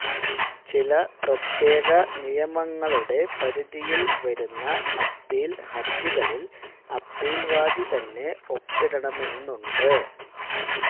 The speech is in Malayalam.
ചില പ്രത്യേക നിയമങ്ങളുടെ പരിധിയിൽ വരുന്ന അപ്പീൽ ഹർജികളിൽ അപ്പീൽവാദി തന്നെ ഒപ്പിടണമെന്നുണ്ട്